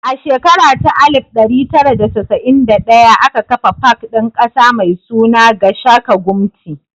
A shekara ta alif ɗari tara da casa'in da ɗaya aka kafa pak ɗin ƙasa mai suna 'Gashaka Gumti'.